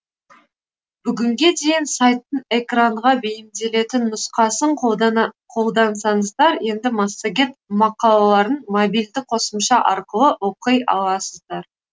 бүгінге дейін сайттың экранға бейімделетін нұсқасын қолдансаңыздар енді массагет мақалаларын мобильді қосымша арқылы оқи аласыздар